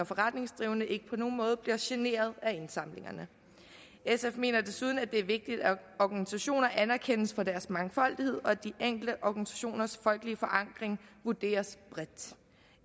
forretningsdrivende ikke på nogen måde bliver generet af indsamlingerne sf mener desuden at det er vigtigt at organisationer anerkendes for deres mangfoldighed og at de enkelte organisationers folkelige forankring vurderes bredt